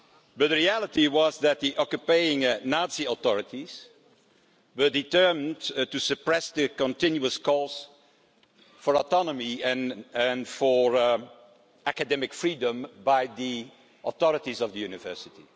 But the reality was that the occupying Nazi authorities were determined to suppress the continuous calls for autonomy and for academic freedom by the authorities of the university.